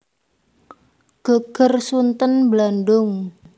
Geger Sunten Blandung